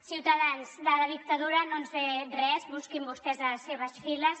ciutadans de la dictadura no ens sé res busquin vostès a les seves files